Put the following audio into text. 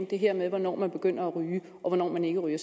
det her med hvornår man begynder at ryge og hvornår man ikke ryger